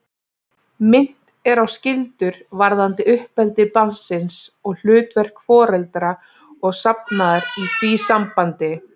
Minnt er á skyldur varðandi uppeldi barnsins og hlutverk foreldra og safnaðar í því sambandi.